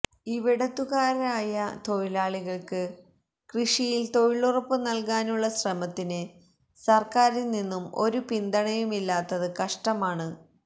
ഇവിടത്തുകാരായ തൊഴിലാളികൾക്ക് കൃഷിയിൽ തൊഴിലുറപ്പ് നൽകാനുള്ള ശ്രമത്തിന് സർക്കാരിൽ നിന്ന് ഒരു പിന്തുണയുമില്ലാത്തത് കഷ്ടമാണ്